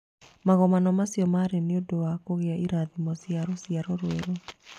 Magongona macio maarĩ nĩ ũndũ wa kũgĩa irathimo cia rũciaro rwerũ.